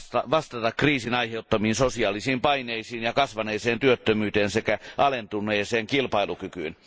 vastata kriisin aiheuttamiin sosiaalisiin paineisiin ja kasvaneeseen työttömyyteen sekä alentuneeseen kilpailukykyyn.